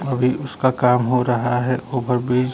अभी उसका काम हो रहा है ओवर ब्रिज --